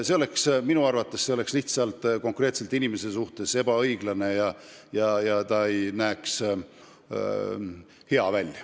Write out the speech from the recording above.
Minu arvates oleks see konkreetse inimese suhtes ebaõiglane ja ei kukuks hea välja.